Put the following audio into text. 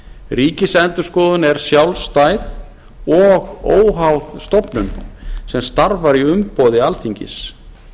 ríkisendurskoðun er sjálfstæð og óháð stofnun sem starfar í umboði alþingis